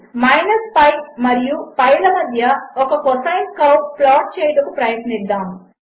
pi మరియు pi లమధ్యఒక cosine curve ప్లాట్చేయుటకుప్రయత్నిద్దాము